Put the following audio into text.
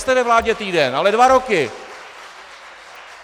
Nejste ve vládě týden, ale dva roky!